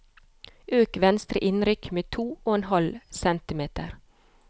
Øk venstre innrykk med to og en halv centimeter